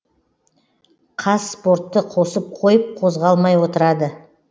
қазспортты қосып қойып қозғалмай отырады